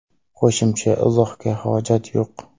Qo‘shimcha izohga hojat yo‘q.